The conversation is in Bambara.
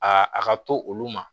Aa a ka to olu ma